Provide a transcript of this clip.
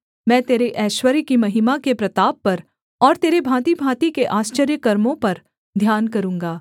मैं तेरे ऐश्वर्य की महिमा के प्रताप पर और तेरे भाँतिभाँति के आश्चर्यकर्मों पर ध्यान करूँगा